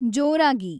ಜೋರಾಗಿ